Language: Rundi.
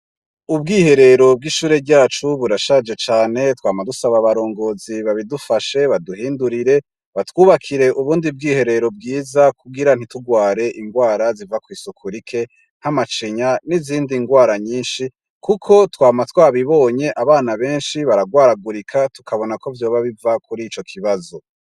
Ubwiherero bwishure ryacu burashaje cane twama dusaba abaringozi babidufashe baduhindurire batwubakire ubundi bwiherero bwiza kugira ntiturware inrwara riva kwisuku rike nkamacinya ninzindi nrwara nyinshi kuko twama twabibonye abana benshi bararwaragurika tukabona kovyoba biva kurico kibazo